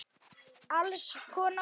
Alls konar.